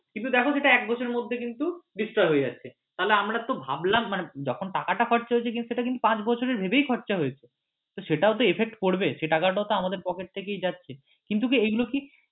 কিন্তু দেখো সেটা এক বছরের মধ্যে কিন্তু destroy হয়ে যাচ্ছে তাহলে আমরা তো ভাবলাম মাণে যখন টাকাটা খরচা হয়েছে সেটা কিন্তু পাঁচ বছরের ভেবেই খরচা হয়েছে তো সেটাও তো effect করবে সে টাকাটাও তো আমাদের pocket থেকেই যাচ্ছে কিন্তু কি এইগুলো কি